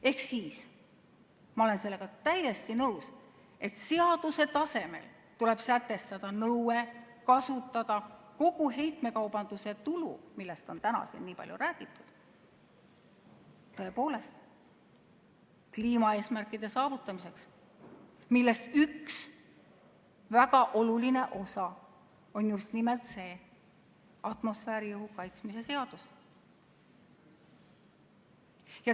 Ehk ma olen täiesti nõus, et seaduse tasemel tuleb sätestada nõue kasutada kogu heitmekaubanduse tulu, millest on täna siin nii palju räägitud, tõepoolest kliimaeesmärkide saavutamiseks, mille üks väga oluline osa on just nimelt see atmosfääriõhu kaitsmise seadus.